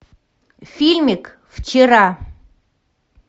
фильмик вчера